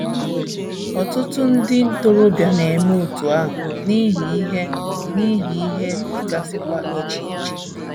Ọtụtụ ndị ntorobịa na - eme otú ahụ, n’ihi ihe, n’ihi ihe dịgasịkwa iche iche.